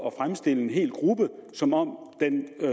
at fremstille en hel gruppe som om den